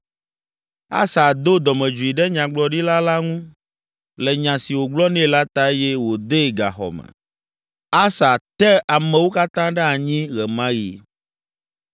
Asa do dɔmedzoe ɖe nyagblɔɖila la ŋu le nya si wògblɔ nɛ la ta eye wòdee gaxɔ me. Asa te ameawo katã ɖe anyi ɣe ma ɣi.